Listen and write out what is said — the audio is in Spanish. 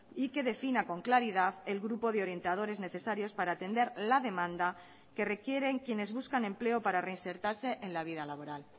y que defina con claridad el grupo de orientadores necesarios para atender la demanda que requieren quienes buscan empleo para reinsertarse en la vida laboral